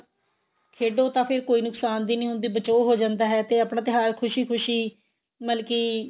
ਖੇਡੋ ਤਾਂ ਫੇਰ ਕੋਈ ਨੁਕਸਾਨ ਵੀ ਨਹੀਂ ਹੁੰਦਾ ਬਚਾਓ ਹੋ ਜਾਂਦਾ ਹੈ ਤੇ ਆਪਣਾ ਤਿਉਹਾਰ ਖੁਸ਼ੀ ਖੁਸ਼ੀ ਮਤਲਬ ਕੀ